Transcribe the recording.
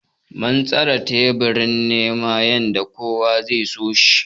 Mun tsara teburin ne yanda kowa sai da ya so shi.